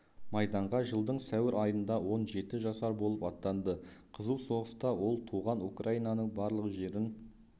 майданға жылдың сәуір айында он жеті жасар болып аттанды қызу соғыста ол туған украинаның барлық жерін